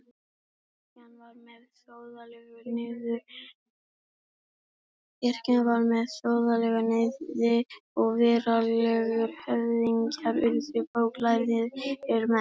Kirkjan varð með þjóðlegu sniði og veraldlegir höfðingjar urðu bóklærðir menn.